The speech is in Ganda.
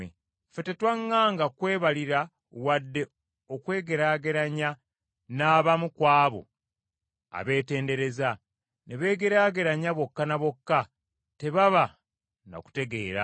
Ffe tetwaŋŋanga kwebalira wadde okwegeraageranya n’abamu ku abo abeetendereza, naye bo bwe beepimamu bokka na bokka, ne beegeraageranya bokka na bokka tebaba na kutegeera.